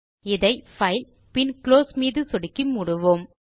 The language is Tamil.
இதை பைல் பின் குளோஸ் மீது சொடுக்கி மூடுவோம்